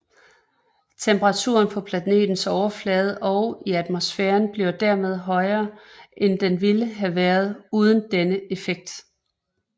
Temperaturen på planetens overflade og i atmosfæren bliver dermed højere end den ville have været uden denne effekt